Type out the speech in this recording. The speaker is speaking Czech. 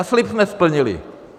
A slib jsme splnili.